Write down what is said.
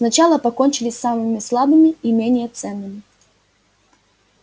сначала покончили с самыми слабыми и менее ценными